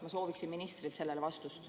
Ma sooviksin ministrit sellele vastust.